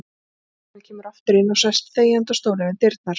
Lögreglan kemur aftur inn og sest þegjandi á stólinn við dyrnar.